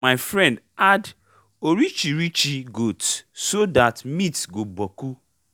my friend add orichirichi goat so that meat go boku